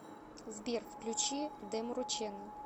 сбер включи демуру чэнэл